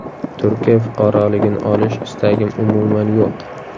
Turkiya fuqaroligini olish istagim umuman yo‘q.